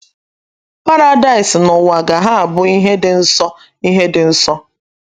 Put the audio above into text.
Paradaịs n'uwa ga - ha abụ ihe dị nso ihe dị nso.